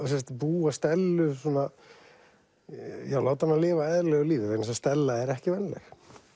búa Stellu svona láta hana lifa eðlilegu lífi vegna þess að Stella er ekki venjuleg